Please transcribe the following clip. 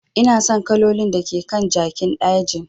Ina son kalolin da ke kan jakin dajin.